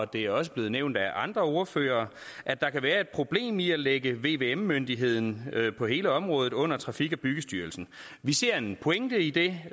det er også blevet nævnt af andre ordførere at der kan være et problem i at lægge vvm myndigheden på hele området under trafik og byggestyrelsen vi ser en pointe i det